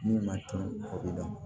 Min ma to o bɛ dɔn